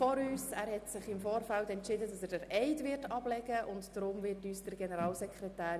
Er hat sich im Vorfeld dafür entschieden, den Eid zu leisten.